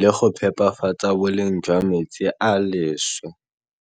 le go phepafatsa boleng jwa metsi a a leswe.